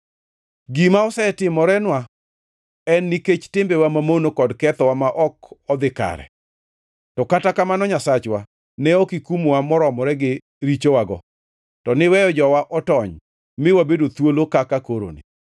“Gima osetimorenwa en nikech timbewa mamono kod kethowa ma ok odhi kare, to kata kamano, Nyasachwa, ne ok ikumowa moromore gi richowago, to niweyo jowa otony, mi wabedo thuolo kaka koroni.